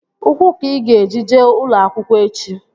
Ụkwụ ka ị ga-eji jee ụlọ akwụkwọ echi!